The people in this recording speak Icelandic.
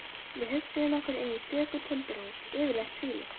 Við hugsuðum okkur inn í stöku timburhús, yfirleitt tvílyft.